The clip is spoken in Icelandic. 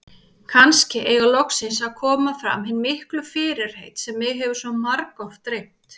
Kannski eiga loksins að koma fram hin miklu fyrirheit sem mig hefur svo margoft dreymt.